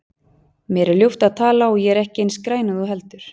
Mér er ljúft að tala og ég er ekki eins græn og þú heldur.